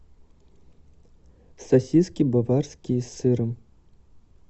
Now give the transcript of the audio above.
сосиски баварские с сыром